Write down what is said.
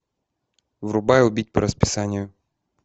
врубай убить по расписанию